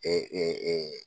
ɛ ɛ ɛ